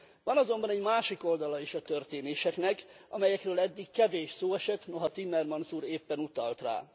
Van azonban egy másik oldala is a történéseknek, amelyekről eddig kevés szó esett, noha Timmermans úr éppen utalt rá.